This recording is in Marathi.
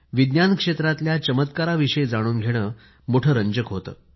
विज्ञान क्षेत्रातल्या चमत्काराविषयी जाणून घेणे मोठे रंजक होतं